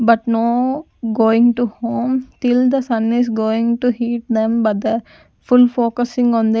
but no going to home till the son is going to heat them but the full focusing on them.